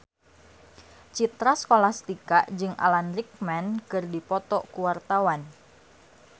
Citra Scholastika jeung Alan Rickman keur dipoto ku wartawan